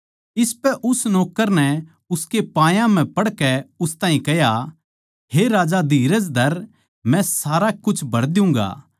इसपै उस नौक्कर नै उसके पायां म्ह पड़कै उस ताहीं कह्या हे राजा धीरज धर मै सारा कुछ भर दियुँगा